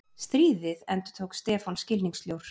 Stríðið? endurtók Stefán skilningssljór.